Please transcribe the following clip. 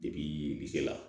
Depi se la